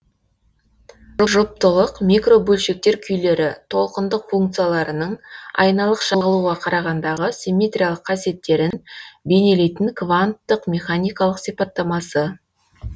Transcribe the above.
жұптылық микробөлшектер күйлері толқындық функцияларының айналық шағылуға қарағандағы симметриялық қасиеттерін бейнелейтін кванттық механикалық сипаттамасы